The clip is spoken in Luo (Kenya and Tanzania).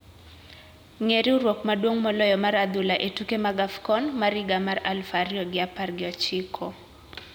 Ng`e riwruok maduong` moloyo mar adhula e tuke mag AFCON mar higa mar aluf ariyo gi apar gi ochiko.